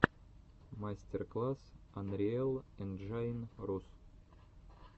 мастер класс анриэл энджайн рус